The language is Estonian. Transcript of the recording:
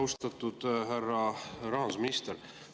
Austatud härra rahandusminister!